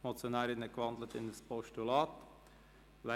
Die Motionärin hat in ein Postulat gewandelt.